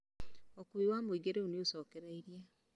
Ūkuui wa mũingĩ rĩu nĩũcokereirie